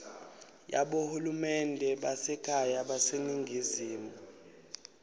yabohulumende basekhaya baseningizimu